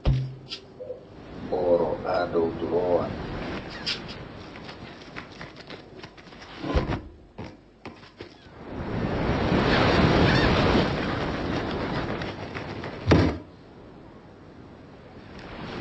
Boro ha dow durowa.